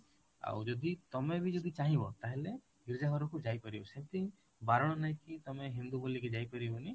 ଆଉ ଯଦି ତମେ ବି ଯଦି ଚାହିଁବ ତାହେଲେ ଗୀର୍ଜା ଘରକୁ ଯାଇପାରିବ ସେମିତି ବାରଣ ନାହିଁ କି ତମେ ହିନ୍ଦୁ ବୋଲି କି ଯାଇପାରିବନି